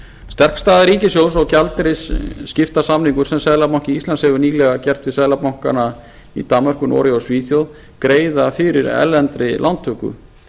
sterk staða ríkissjóðs og gjaldeyrisskiptasamningar sem seðlabanki íslands hefur nýlega gert við seðlabankana í danmörku noregi og svíþjóð greiða fyrir erlendri lántöku